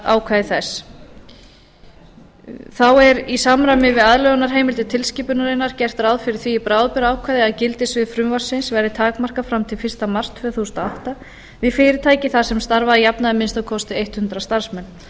ákvæði þess þá er í samræmi við aðlögunarheimildir tilskipunarinnar gert ráð fyrir því í bráðabirgðaákvæði að gildissvið frumvarpsins verði takmarkað fram til fyrsta mars tvö þúsund og átta við fyrirtæki þar sem starfa að jafnaði að minnsta kosti hundrað starfsmenn